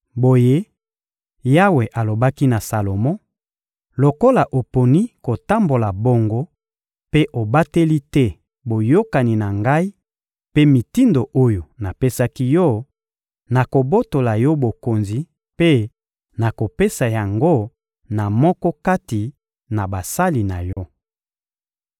Boye, Yawe alobaki na Salomo: «Lokola oponi kotambola bongo mpe obateli te boyokani na Ngai mpe mitindo oyo napesaki yo, nakobotola yo bokonzi mpe nakopesa yango na moko kati na basali na yo.